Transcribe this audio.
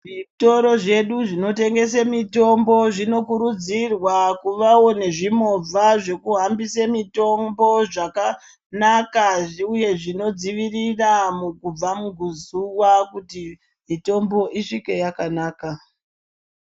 Zvitoro zvedu zvinotengese mitombo zvinokurudzirwa kuvawo nezvimovha zvekuhambise mitombo zvakanaka uye zvinodziwirira kubva muzuwa kuti mitombo isvike yakanaka.